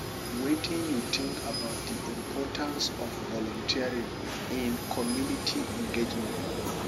wetin you think about di importance of volunteering in community engagement